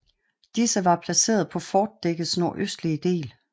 Disse var placeret på fortdækkets nordøstlige del